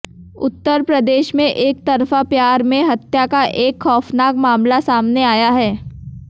उत्तर प्रदेश में एकतरफा प्यार में हत्या का एक खौफनाक मामला सामने आया है